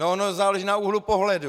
No ono záleží na úhlu pohledu!